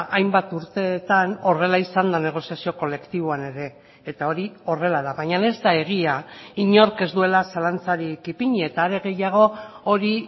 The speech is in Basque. hainbat urteetan horrela izan da negoziazio kolektiboan ere eta hori horrela da baina ez da egia inork ez duela zalantzarik ipini eta are gehiago hori